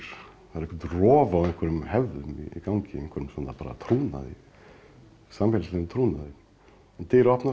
það er eitthvert rof á einhverjum hefðum í gangi einhverjum trúnaði samfélagslegum trúnaði dyr opnast